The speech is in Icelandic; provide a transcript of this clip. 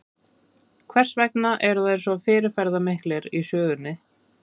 Hvers vegna eru þær svo fyrirferðamiklar í sögunni?